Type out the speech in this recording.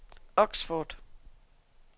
Oxford